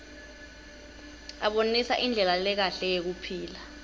abonisa indlela lekahle yekuphila